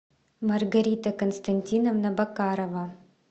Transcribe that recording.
маргарита константиновна бокарова